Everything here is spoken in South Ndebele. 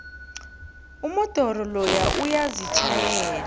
umodoro loya uyazitjhayela